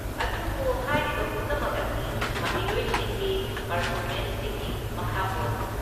ꯑꯗꯨꯕꯨ ꯍꯥꯏꯔꯤꯕ ꯄꯨꯝꯅꯃꯛ ꯑꯁꯤ ꯃꯍꯩꯔꯣꯏꯁꯤꯡꯒꯤ ꯄꯔꯐꯣꯃꯦꯟꯁꯁꯤꯡꯒꯤ ꯃꯈꯥ ꯄꯣꯜꯂꯤ꯫